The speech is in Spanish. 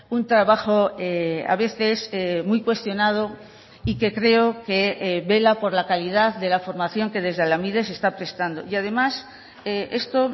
un trabajo a veces muy cuestionado y que creo que vela por la calidad de la formación que desde lanbide se está prestando y además esto